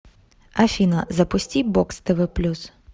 афина запусти бокс тв плюс